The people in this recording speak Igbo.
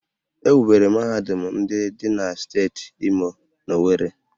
E wubere mahadum ndị dị na steeti Imo n'Owerri